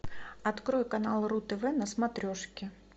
открой канал ру тв на смотрешке